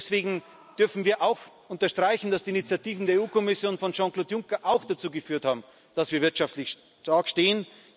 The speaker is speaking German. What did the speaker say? Und deswegen dürfen wir auch unterstreichen, dass die Initiativen der EU Kommission, von Jean Claude Juncker auch dazu geführt haben, dass wir wirtschaftlich stark stehen.